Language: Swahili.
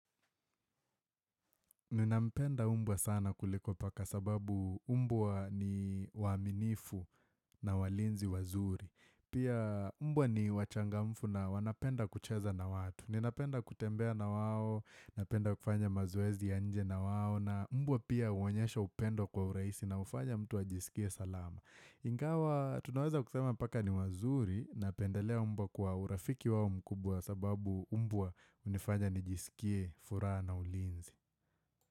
Ninampenda mbwa sana kuliko paka sababu mbwa ni waaminifu na walinzi wazuri. Pia mbwa ni wachangamfu na wanapenda kucheza na watu. Ninapenda kutembea na wao, napenda kufanya mazoezi ya nje na wao na mbwa pia huonyesha upendo kwa uraisi na hufanya mtu ajisikie salama. Ingawa tunaweza kusema paka ni wazuri na pendelea mbwa kwa urafiki wao mkubwa sababu mbwa hunifanya nijisikie furaha na ulinzi.